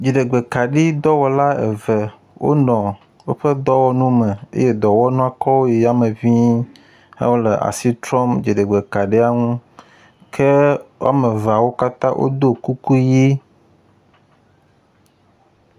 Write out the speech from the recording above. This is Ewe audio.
Dziɖegb kaɖodɔwɔla eve wonɔ woƒe dɔwɔnuwo me eye dɔwɔnua kɔwo yi yame ŋii ehe asi trɔm ddziɖegbe kaɖia ŋu ke wɔme eveawo katã wodo kuku ʋi.